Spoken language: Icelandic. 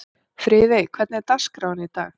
Friðey, hvernig er dagskráin í dag?